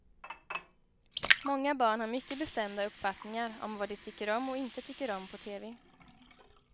Många barn har mycket bestämda uppfattningar om vad de tycker om och inte tycker om på tv.